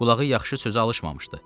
Qulağı yaxşı sözə alışmamışdı.